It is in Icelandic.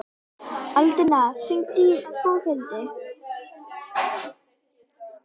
Alida, hringdu í Boghildi.